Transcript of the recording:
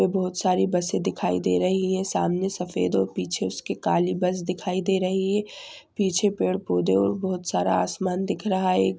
बहुत सारी बसे दिखाई दे रही हैं सामने सफेद और पीछे उसके कालीं बस दिखाई दे रही हैं पीछे पेड़ पौधे और बहुत सारा आसमान दिख रहा है।